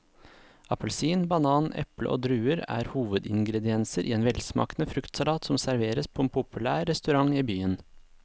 Appelsin, banan, eple og druer er hovedingredienser i en velsmakende fruktsalat som serveres på en populær restaurant i byen.